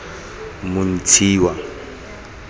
montshiwa